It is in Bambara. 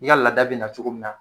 I ka lada bi na cogo min na